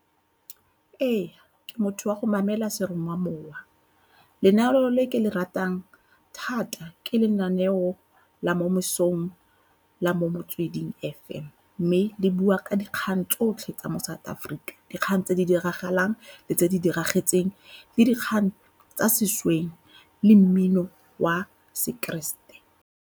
Ee, ke motho wa go mamela seromamowa. Lenaneo le ke le ratang thata ke lenaneo la mo mosong la mo Motsweding F_M. Mme di bua ka dikgang tsotlhe tsa mo South Africa, dikgang tse di diragalang le tse di diragetseng le dikgang tsa sešweng le mmino wa sekeresete.